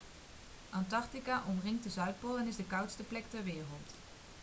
antarctica omringt de zuidpool en is de koudste plek ter wereld